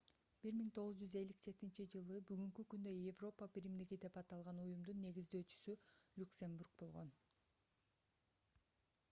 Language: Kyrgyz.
1957-ж бүгүнкү күндө европа биримдиги деп аталган уюмдун негиздөөчүсү люксембург болгон